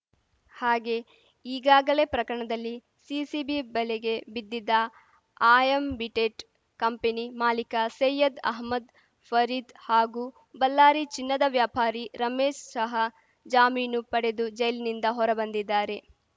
ಹಾಗೆ ಈಗಾಗಲೇ ಪ್ರಕರಣದಲ್ಲಿ ಸಿಸಿಬಿ ಬಲೆಗೆ ಬಿದ್ದಿದ್ದ ಆಯಂಬಿಟೇಟ್‌ ಕಂಪನಿ ಮಾಲೀಕ ಸೈಯದ್‌ ಅಹಮದ್‌ ಫರೀದ್‌ ಹಾಗೂ ಬಲ್ಲಾರಿ ಚಿನ್ನದ ವ್ಯಾಪಾರಿ ರಮೇಶ್‌ ಸಹ ಜಾಮೀನು ಪಡೆದು ಜೈಲಿನಿಂದ ಹೊರ ಬಂದಿದ್ದಾರೆ